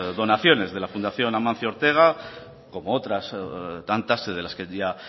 donaciones de la fundación amancio ortega como otras tantas de las que ya